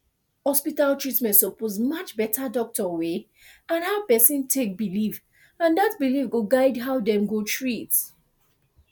hospital treatment suppose match better doctor way and how person take believe and that belief go guide how dem go treat